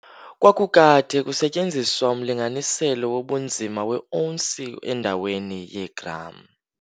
Kwakukade kusetyenziswa umlinganiselo wobunzima weeounsi endaweni yeegram.